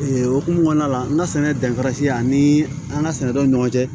Ee okumu kɔnɔna la n ka sɛnɛ danfara siyan ani an ka sɛnɛ dɔw ni ɲɔgɔn cɛ